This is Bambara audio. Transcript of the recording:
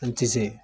An ti se